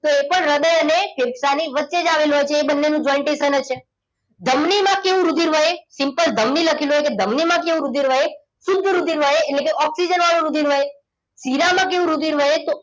તો એ પણ હૃદય અને ફેફસાની વચ્ચે જ આવેલી હોય છે એ બંને નું jointation જ છે ધમનીમાં કેવું રુધિર વહે simple ધમની લખેલું હોય તો ધમની માં કેવું રુધિર વહે શુદ્ધ રુધિર વહે એટલે કે ઓક્સિજન વાળું રુધિર વહે શિરામાં કેવું રુધિર વહે તો